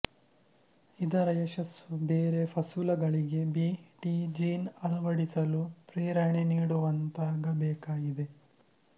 ಇದರ ಯಶಸ್ಸು ಬೇರೆ ಫಸುಲಗಳಿಗೆ ಬೀ ಟಿ ಜೀನ್ ಅಳವಡಿಸಲು ಪ್ರೇರಣೆ ನೀಡುವಂತಾಗಬೇಕಾಗಿದೆ